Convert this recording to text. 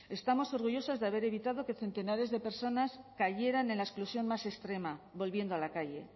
estamos orgullosos de haber evitado que centenares de personas cayeran en la exclusión más extrema volviendo a la calle